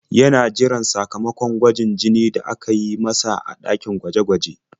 Yana jiran sakamakon gwajin jini da aka yi masa a ɗakin gwaje-gwaje.